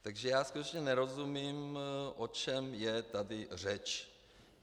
Takže já skutečně nerozumím, o čem je tady řeč.